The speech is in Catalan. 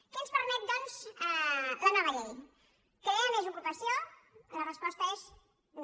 què ens permet doncs la nova llei crear més ocupació la resposta és no